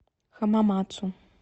хамамацу